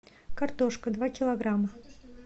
картошка два килограмма